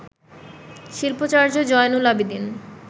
Shilpacharya Zainul Abedin